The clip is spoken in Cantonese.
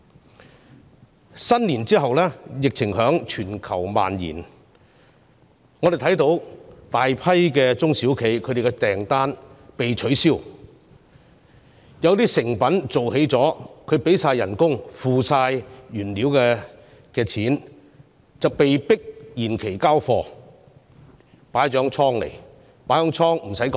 農曆新年後，疫情在全球蔓延，我們看到大量中小企的訂單被取消，有些已製成的貨品——相關的薪金及原材料費用都已支出——被迫延期交貨，要放置在貨倉。